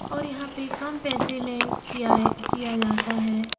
और यहाँ पे कम पैसे में किया है किया जाता है।